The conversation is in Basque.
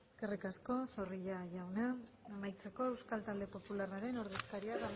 eskerrik asko zorrilla jauna amaitzeko euskal talde popularraren ordezkaria